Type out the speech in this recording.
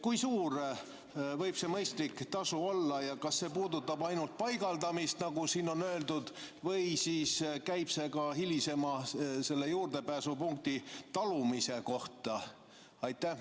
Kui suur võib see mõistlik tasu olla ja kas see puudutab ainult paigaldamist, nagu siin on öeldud, või käib see ka juurdepääsupunkti hilisema talumise kohta?